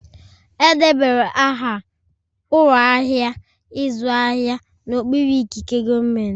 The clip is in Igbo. Edebara aha ụlọ ahịa ịzụ ahịa n'okpuru ikike gọọmentị